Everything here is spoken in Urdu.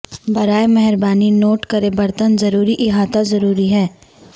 براہ مہربانی نوٹ کریں برتن ضروری احاطہ ضروری ہے